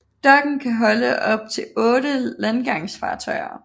Dokken kan holde op til 8 landgangsfartøjer